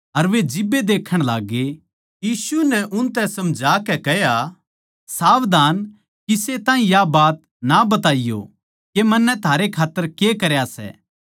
अर वे जिब्बे देक्खण लाग्गे यीशु नै उनतै समझां के कह्या सावधान किसे ताहीं या बात ना बताइयो के मन्नै थारे खात्तर के करया सै